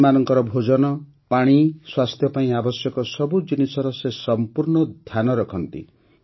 ପକ୍ଷୀମାନଙ୍କର ଭୋଜନ ପାଣି ସ୍ୱାସ୍ଥ୍ୟ ପାଇଁ ଆବଶ୍ୟକ ସବୁ ଜିନିଷର ସେ ସଂପୂର୍ଣ୍ଣ ଧ୍ୟାନ ରଖନ୍ତି